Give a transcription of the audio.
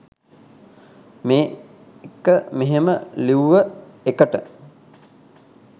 මේක මෙහෙම ලිව්ව එකට